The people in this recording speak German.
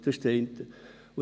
Das ist das eine.